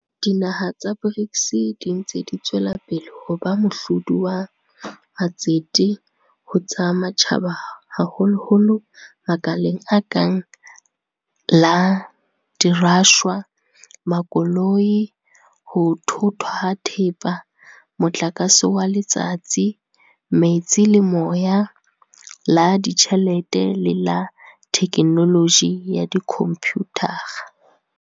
Dinaha tsa BRICS di ntse di tswela pele ho ba mohlodi wa matsete ho tsa matjhaba haholoholo makaleng a kang la dirashwa, makoloi, ho thothwa ha thepa, motlakase wa letsatsi, metsi le moya, la ditjhelete le la thekenoloji ya dikhomputara.